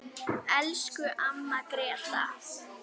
Elsku amma Gréta.